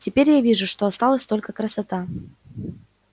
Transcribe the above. теперь я вижу что осталась только красота